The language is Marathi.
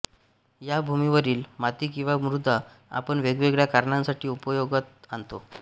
या भूमीवरील माती किवा मृदा आपण वेगवेगळ्या कारणांसाठी उपयोगात आणतो